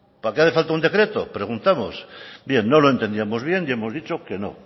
para qué hace falta un decreto preguntamos bien no lo entendíamos bien y hemos dicho que no